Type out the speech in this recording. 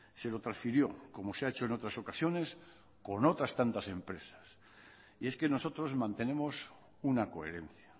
se lo transfirió como se ha hecho en otras ocasiones con otras tantas empresas y es que nosotros mantenemos una coherencia